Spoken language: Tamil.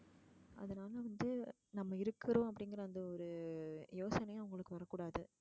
வந்து நம்ம இருக்ககுறோம் அப்படிங்கற அந்த ஒருயோசனையே அவளுக்கு வர கூடாது.